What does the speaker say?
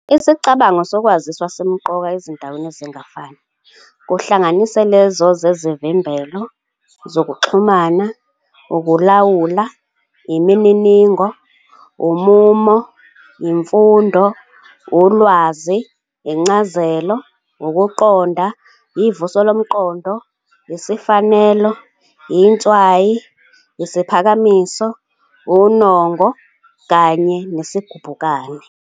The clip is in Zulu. Isicabango sokwaziswa simqoka ezindaweni ezingafani, kuhlanganise lezo zezivimbelo, zokuxhumana, ukulawula, imininingo, umumo, imfundo, ulwazi, incazelo, ukuqonda, ivuso lomqondo, isifanelo, intshwayo, Isiphakamiso, unongo, kanye nesigubhukane.